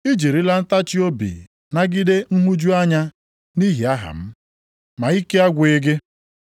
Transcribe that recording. I jirila ntachiobi nagide nhụju anya nʼihi aha m, ma ike agwụghị gị.